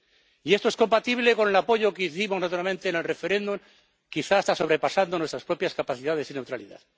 Y esto es compatible con el apoyo que hicimos naturalmente en el referéndum, quizá hasta sobrepasando nuestras propias capacidades y neutralidad.